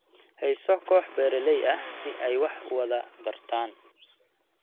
Hayso kooxo beeralay ah si ay wax u wada bartaan.